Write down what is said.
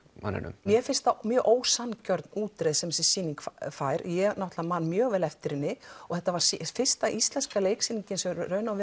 manninum mér finnst það mjög ósanngjörn útreið sem þessi sýning fær ég náttúrulega man mjög vel eftir henni og þetta var fyrsta íslenska leiksýningin sem